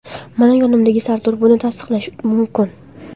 Mana yonimdagi Sardor buni tasdiqlashi mumkin.